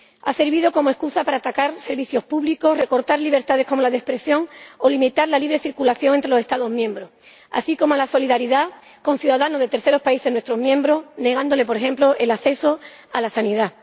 Ha servido como excusa para atacar servicios públicos, recortar libertades —como la de expresión— o limitar la libre circulación entre los Estados miembros, así como la solidaridad con ciudadanos de terceros países de nuestros Estados miembros, negándoles, por ejemplo, el acceso a la sanidad.